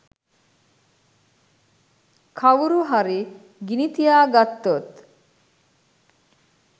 කවුරු හරි ගිනි තියගත්තොත්